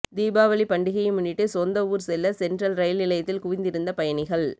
தீபாவளி பண்டிகையை முன்னிட்டு சொந்த ஊர் செல்ல சென்ட்ரல் ரயில் நிலையத்தில் குவிந்திருந்த பயணிகள்